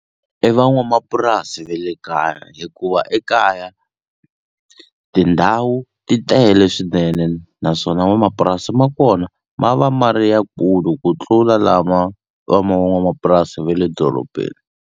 I van'wamapurasi ve le kaya hikuva ekaya tindhawu ti tele swinene naswona n'wamapurasi ma kona ma va ma ri yakulu ku tlula lama va ma van'wamapurasi ve le dorobeni.